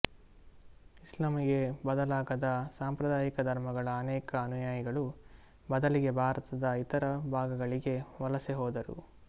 ಇಸ್ಲಾಂಗೆ ಬದಲಾಗದ ಸಾಂಪ್ರದಾಯಿಕ ಧರ್ಮಗಳ ಅನೇಕ ಅನುಯಾಯಿಗಳು ಬದಲಿಗೆ ಭಾರತದ ಇತರ ಭಾಗಗಳಿಗೆ ವಲಸೆ ಹೋದರು